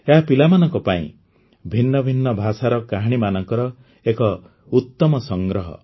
ଏହା ପିଲାମାନଙ୍କ ପାଇଁ ଭିନ୍ନ ଭିନ୍ନ ଭାଷାର କାହାଣୀମାନଙ୍କର ଏକ ଉତ୍ତମ ସଂଗ୍ରହ